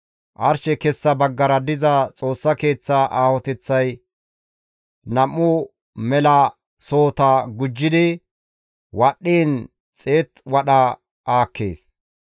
Arshe kessa baggara diza Xoossa Keeththaa aahoteththay nam7u mela sohota gujjidi wadhdhiin xeetu wadha aakkees.